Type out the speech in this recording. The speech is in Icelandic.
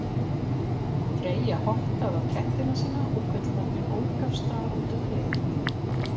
Freyja hottaði á kettina sína og gullvagninn ók af stað út um hliðið.